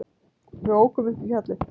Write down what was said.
Við ókum upp í fjallið.